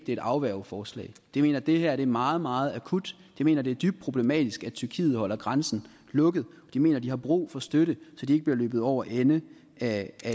et afværgeforslag de mener at det her er meget meget akut de mener det er dybt problematisk at tyrkiet holder grænsen lukket og de mener at de har brug for støtte så de ikke bliver løbet over ende af